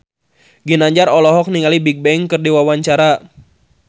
Ginanjar olohok ningali Bigbang keur diwawancara